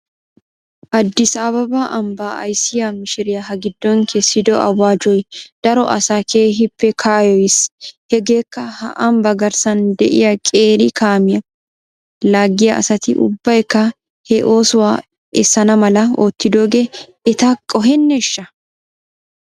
Addis ababa ambbaa ayssiyaa mishiriyaa ha giddon kessido awaajjoy daro asaa keehippe kayyoyis. Hegeekka he ambbaa garssan de'iyaa qeeri kaamiyaa laaggiyaa asati ubbaykka he oosuwaa essan mala oottidoogee eta qoheneeshsha?